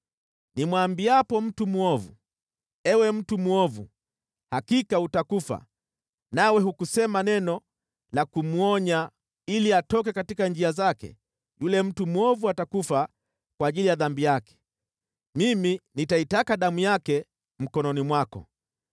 Nimwambiapo mtu mwovu, ‘Ewe mtu mwovu, hakika utakufa,’ nawe hukusema neno la kumwonya ili atoke katika njia zake, yule mtu mwovu atakufa kwa ajili ya dhambi yake, mimi nitaitaka damu yake mkononi mwako.